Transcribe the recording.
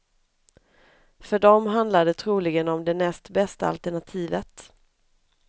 För dem handlar det troligen om det näst bästa alternativet.